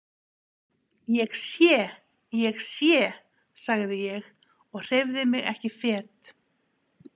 Ég sé, ég sé, sagði ég og hreyfði mig ekki fet.